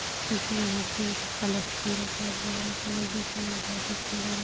क्योंकि यहाँ पे एक कलश भी रखा हुआ है कलर देखने में बहोत ही शुंदर है।